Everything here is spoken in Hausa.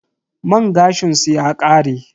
Man gashin su ya kare.